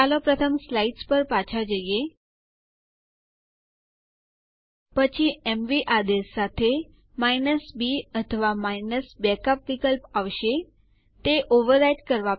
ચાલો આદેશ લખીએ ઇડ સ્પેસ ઉ અને Enter ડબાઓ